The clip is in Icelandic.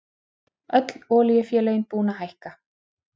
Öll olíufélögin búin að hækka